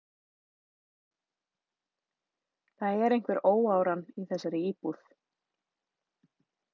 Það er einhver óáran í þessari íbúð.